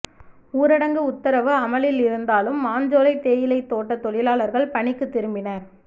ஊரடங்கு உத்தரவு அமலில் இருந்தாலும் மாஞ்சோலை தேயிலை தோட்ட தொழிலாளர்கள் பணிக்கு திரும்பினர்